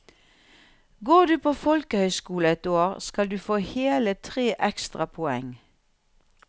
Går du på folkehøyskole ett år, skal du få hele tre ekstra poeng.